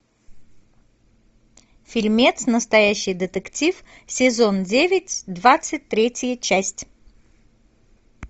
фильмец настоящий детектив сезон девять двадцать третья часть